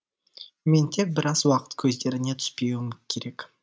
мен тек біраз уақыт көздеріне түспеуім керек